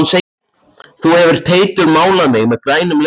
Þú hefur Teitur málað mig meður grænum legi.